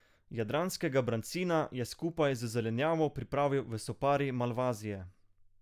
Jadranskega brancina je skupaj z zelenjavo pripravil v sopari malvazije.